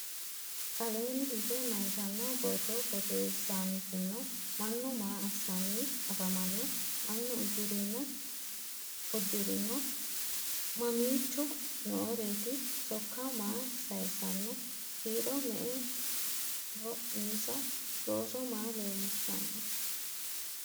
Aleenni higge mayiittanno borro borreessanttino? Mannu maa assanni afammanno? Maa udirinno? Mamicho nooreetti? Sokka maa sayiisanno? Kirro me'eho insa? Looso maa leelishshanno?